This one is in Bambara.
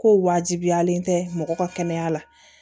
Ko wajibiyalen tɛ mɔgɔ ka kɛnɛya la